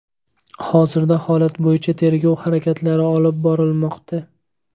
Hozirda holat bo‘yicha tergov harakatlari olib borilmoqda.